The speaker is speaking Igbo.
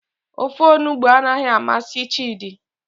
Ofe onugbu anaghị amasị chidi.